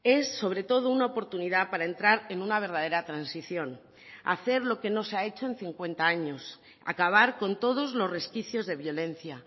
es sobre todo una oportunidad para entrar en una verdadera transición hacer lo que no se ha hecho en cincuenta años acabar con todos los resquicios de violencia